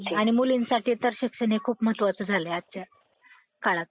आणि मुलींसाठी तर शिक्षण हे खूप महत्वाचं झालं आहे आजच्या काळात.